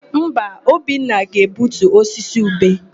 Mba, Obinna ga-egbutu osisi ube.